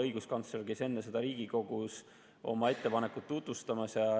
Õiguskantsler käis enne seda Riigikogus oma ettepanekut tutvustamas.